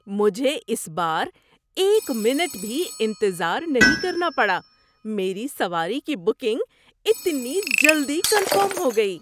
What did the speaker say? مجھے اس بار ایک منٹ بھی انتظار نہیں کرنا پڑا۔ میری سواری کی بکنگ اتنی جلدی کنفرم ہو گئی!